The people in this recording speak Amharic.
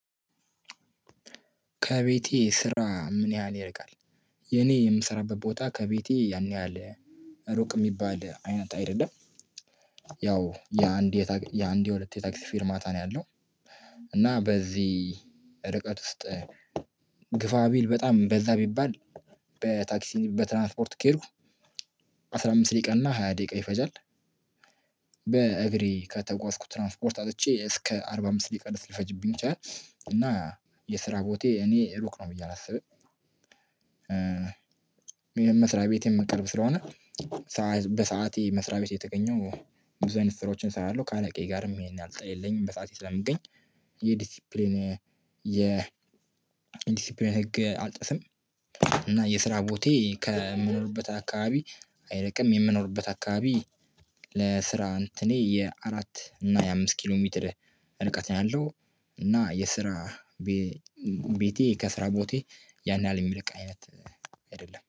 ከቤቴ ስራ ምን ያህል ይርቃል የኔ የምሰራበት ቦታ ከቤቴ ያን ያህል ሩቅ የሚባል አይነት አይደለም። ያው የአንድ የሁለት የታክሲ ፊርማታ ነው ያለው። እና በዚህ ርቀት ውስጥ ግፋ ቢል በጣም በዛ ቢባል በታክሲ በትራንስፖርት ከሄድኩ አስራ አምስት ደቂቃ እና ሃያ ደቂቃ ይፈጃል። በእግሬ ከተጓዝኩ ትራንስፖርት አጥቼ እስከ አርባ አምስት ደቂቃ ድረስ ሊፈጅብኝ ቻልኩኝ እና የስራ ቦታዬ እኔ ሩቅ ነው ብዬ አላስብም ይሄን መስሪያ ቤቴ ቅርብ ስለሆነ። በሰአቴ መስሪያ ቤት እየተገኘው ብዙ አይነት ስራዎችን እሰራለሁ። ከአለቃዬ ጋርም ይሄን የለኝም። በሰአቴ ስለምገኝ የዲሲፕሊን የ ዲሲፕሊን ህግ አልጥስም። እና የስራ ቦታዬ ከምኖርበት አካባቢ አይርቅም። የምኖርበት አካባቢ ለስራ እንትኔ የአራት እና የአምስት ኪሎ ሜትር ርቀት ነው ያለው። እና የስራ ቤቴ ከስራ ቦታዬ ያን ያህል የሚርቅ አይነት አይደለም